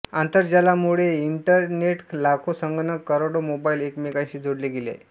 आंतरजालामुळेइंटरनेट लाखो संगणक करोडो मोबाईल एकमेकांशी जोडले गेले